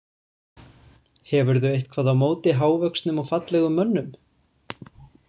Hefurðu eitthvað á móti hávöxnum og fallegum mönnum?